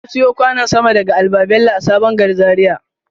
Na siyo kwanon sama daga al-babello a sabon gari Zaria.